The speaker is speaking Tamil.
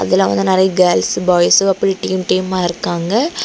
இதுல வந்து நெறியா கேர்ள்ஸ் பாய்ஸ் அப்படி டீம் டீமா இருக்காங்க.